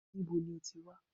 Níbo ní o ti wá?